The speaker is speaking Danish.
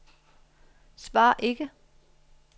svar ikke